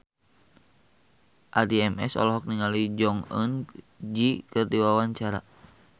Addie MS olohok ningali Jong Eun Ji keur diwawancara